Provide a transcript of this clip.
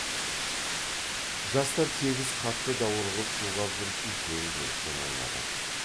жастар тегіс қатты даурығып шулап жүріп үлкен желікпен ойнады